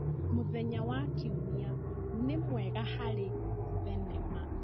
Mũthenya wa Kiumia nĩ mwega harĩ thenema.